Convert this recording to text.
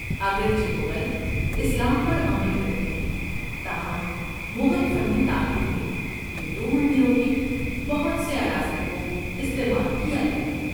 اگرچہ مغل اسلام پر عمل کرتے ہیں، تاہم مغل فن تعمیر میں ہندو مندروں کے بہت سے عناصر کو استعمال کیا گیا ہے۔